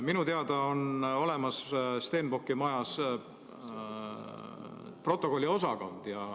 Minu teada on Stenbocki majas olemas protokolliosakond.